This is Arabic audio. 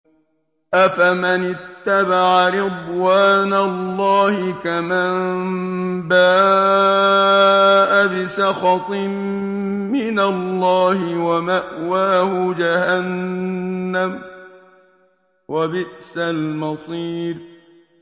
أَفَمَنِ اتَّبَعَ رِضْوَانَ اللَّهِ كَمَن بَاءَ بِسَخَطٍ مِّنَ اللَّهِ وَمَأْوَاهُ جَهَنَّمُ ۚ وَبِئْسَ الْمَصِيرُ